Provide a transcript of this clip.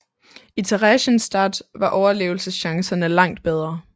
I Theresienstadt var overlevelseschancerne langt bedre